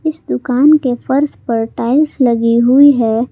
इस दुकान के फर्श पर टाइल्स लगी हुई है।